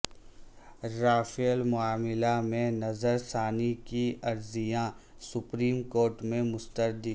Rafale معاملہ میں نظر ثانی کی عرضیاں سپریم کورٹ میں مسترد